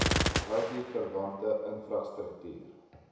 it verwante infrastruktuur